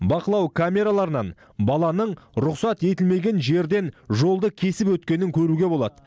бақылау камераларынан баланың рұқсат етілмеген жерден жолды кесіп өткенін көруге болады